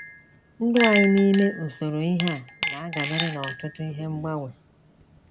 Ndụ anyị n’ime usoro ihe a na dabere n’ọtụtụ ihe mgbanwe.